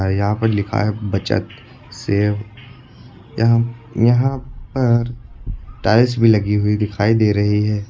यहां पर लिखा है बचत सेव यहां यहां पर टाइल्स भी लगी हुई दिखाई दे रही है।